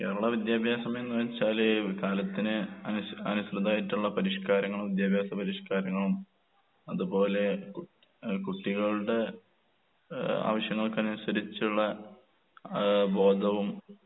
കേരള വിദ്യാഭ്യാസമെന്ന് വെച്ചാല് കാലത്തിന് അനുസ് അനുസൃതായിട്ടൊള്ള പരിഷ്‌കാരങ്ങളും വിദ്യാഭ്യാസ പരിഷ്‌കാരങ്ങളും അതുപോലെ കുട് ഏഹ് കുട്ടികളുടെ ഏഹ് ആവശ്യങ്ങൾക്കനുസരിച്ചുള്ള ആഹ് ബോധവും